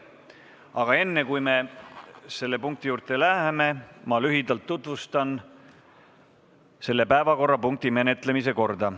Aga enne, kui me selle punkti juurde läheme, ma lühidalt tutvustan selle päevakorrapunkti menetlemise korda.